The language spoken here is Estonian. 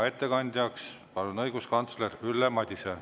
Ettekandjaks palun õiguskantsler Ülle Madise.